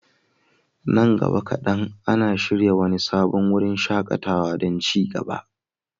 Nan gaba kaɗan, an shirya wani sabon wurin shaƙatawa don ci gaba.